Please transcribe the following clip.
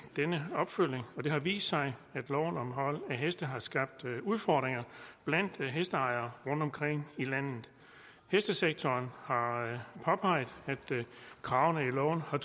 denne opfølgning det har vist sig at loven om hold af heste har skabt udfordringer blandt hesterejere rundtomkring i landet hestesektoren har påpeget at kravene i loven har